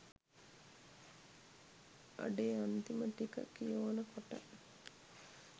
අඩේ අන්තිම ටික කියෝනකොට